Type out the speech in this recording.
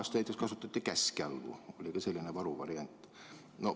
Vanasti näiteks kasutati käskjalgu, oli ka selline varuvariant.